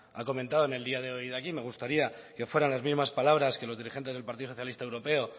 ha comentado en el día de hoy aquí me gustaría que fueran las mismas palabras que los dirigentes del partido socialista europeo